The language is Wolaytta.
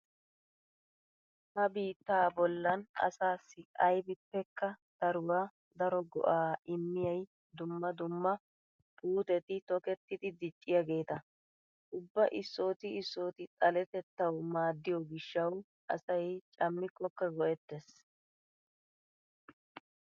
Ha biittaa bollan asaassi aybippekka daruwa daro go'aa immiyay dumma dumma puuteti tokettidi dicciyageeta. Ubba issooti issooti xaletettawu maadiyo gishshawu asay cammikkokka go'ettees.